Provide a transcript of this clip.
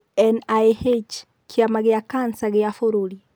NIH:kĩama gĩa kanca gĩa bũrũri.